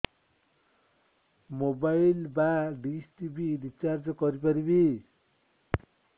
mobile ବା dish TV recharge କରି ପାରିବି